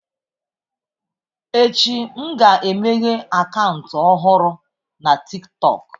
Echi, m ga-emeghe akaụntụ ọhụrụ na TikTọk.